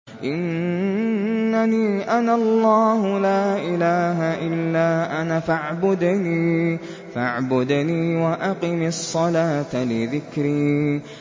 إِنَّنِي أَنَا اللَّهُ لَا إِلَٰهَ إِلَّا أَنَا فَاعْبُدْنِي وَأَقِمِ الصَّلَاةَ لِذِكْرِي